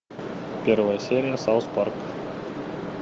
первая серия сауз парк